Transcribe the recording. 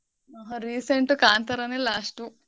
ಈಗ recent ಕಾಂತಾರಾನೆ last ಉ.